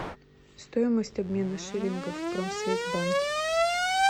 стоимость обмена шиллингов в промсвязьбанке